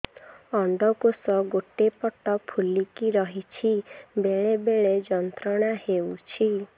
ଅଣ୍ଡକୋଷ ଗୋଟେ ପଟ ଫୁଲିକି ରହଛି ବେଳେ ବେଳେ ଯନ୍ତ୍ରଣା ହେଉଛି